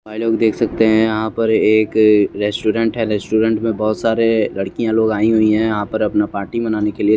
भाई लोग देख सकते है यहाँ पर एक अ रेस्टोरेंट है रेस्टोरेंट मे बहुत सारे लड़किया लोग आयी हुई है यहाँ पर अपना पार्टी मनाने के लिये।